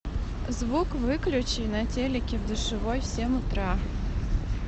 звук выключи на телике в душевой в семь утра